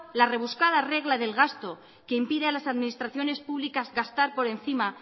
la rebuscada regla del gasto que impide a las administraciones públicas gastar por encima